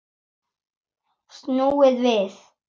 Snúið við!